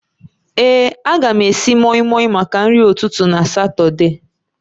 Ee, a ga m esi mọịmọị maka nri ụtụtụ na Satọde